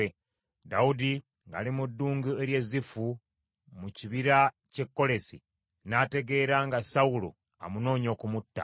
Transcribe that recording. Dawudi ng’ali mu ddungu ery’e Zifu mu kibira ky’e Kolesi, n’ategeera nga Sawulo amunoonya okumutta.